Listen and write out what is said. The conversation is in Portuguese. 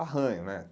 Arranho, né?